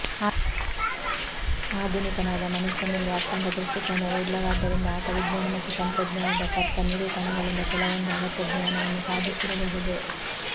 ಆಧುನಿಕನಾದ ಮನುಷ್ಯನಲ್ಲಿ ಅಖಂಡ ದೃಷ್ಠಿಕೋನವೆ ಇಲ್ಲವಾದ್ದರಿಂದ ಆತ ವಿಜ್ಞಾನ ಮತ್ತು ತಂತ್ರಜ್ಞಾನದ ತರ್ಕ ನಿರೂಪಣೆಗಳಿಂದ ಕೆಲವೊಂದು ಅಗತ್ಯ ಜ್ಞಾನವನ್ನು ಸಾಧಿಸಿರಬಹುದು